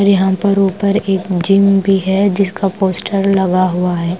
फिर यहां पर ऊपर एक जिम भी है जिसका पोस्टर लगा हुआ हैं।